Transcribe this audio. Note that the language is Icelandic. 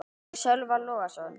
eftir Sölva Logason